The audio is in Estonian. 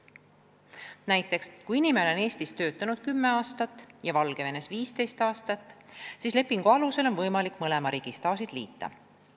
Näiteks kui inimene on Eestis töötanud 10 aastat ja Valgevenes 15 aastat, siis lepingu alusel on võimalik mõlema riigi staažid liita.